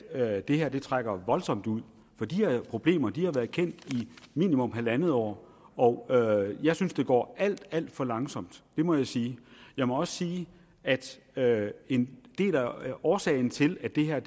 at det her trækker voldsomt ud for de her problemer har været kendt i minimum halvandet år og jeg synes det går alt alt for langsomt det må jeg sige jeg må også sige at en del af årsagen til at det her